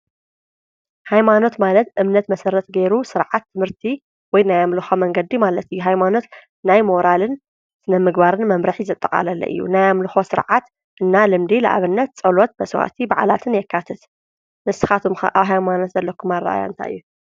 ኃይማኖት ማለት እምነት መሠረት ገይሩ ሥርዓት ትምህርቲ ወይ ናይ ምልኾ መንገዲ ማለቲ ኃይማኖት ናይ ሞራልን ስነ ምግባርን መምርሒ ዘጠቓለለይ እዩ ናይ ኣምልኾ ሥርዓት እና ልምድ ለዓበነት ጸሎት መሥዋቲ በዕላትን የካትት ንስኻቶም ኣብ ሃይማኖት ዘለኩም ኣረአያ እንታዩ